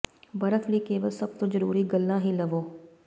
ਬਰਫ਼ ਲਈ ਕੇਵਲ ਸਭ ਤੋਂ ਜ਼ਰੂਰੀ ਗੱਲਾਂ ਹੀ ਲਵੋ